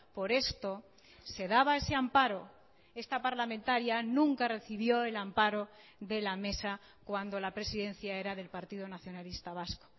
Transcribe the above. por esto se daba ese amparo esta parlamentaria nunca recibió el amparo de la mesa cuando la presidencia era del partido nacionalista vasco